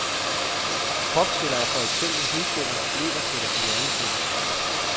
Kropsceller er for eksempel hudceller, leverceller, hjerneceller.